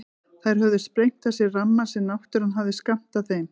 Þær höfðu sprengt af sér rammann sem náttúran hafði skammtað þeim.